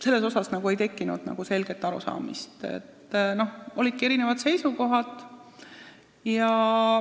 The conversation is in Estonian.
Selle koha pealt ei tekkinud selget arusaamist ja olidki erinevad seisukohad.